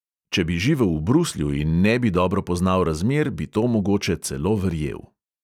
Če bi živel v bruslju in ne bi dobro poznal razmer, bi to mogoče celo verjel.